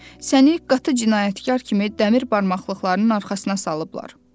Səni qatı cinayətkar kimi dəmir barmaqlıqlarının arxasına salıblar.